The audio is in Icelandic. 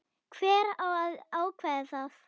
Hver á að ákveða það?